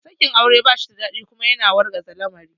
Sakin aure ba shida daɗi kuma yana wargaza lamari